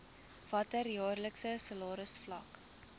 watter jaarlikse salarisvlak